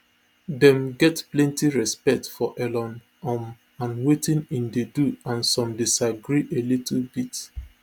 dem get plenty respect for elon um and wetin e dey do and some disagree a little bit